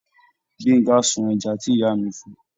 Gbenga sun ẹja tí ìyá mi fun.